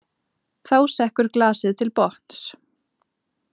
Þá sekkur glasið til botns.